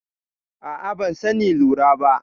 A'a, ban sani lura ba.